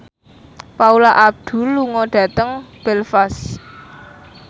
Paula Abdul lunga dhateng Belfast